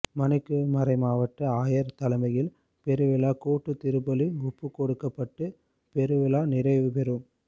மணிக்கு மறைமாவட்ட ஆயர் தலைமையில் பெருவிழா கூட்டுத் திருப்பலி ஒப்புக்கொடுக்கப்பட்டு பெருவிழா நிறைவுபெறும்